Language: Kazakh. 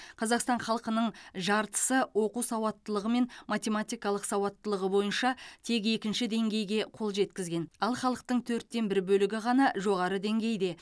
қазақстан халқының жартысы оқу сауаттылығы мен математикалық сауаттылығы бойынша тек екінші деңгейге қол жеткізген ал халықтың төрттен бір бөлігі ғана жоғары деңгейде